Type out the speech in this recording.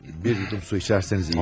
Bir yudum su içərsəniz iyi gəlir.